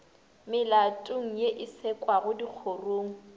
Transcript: melatong ye e sekwago dikgorong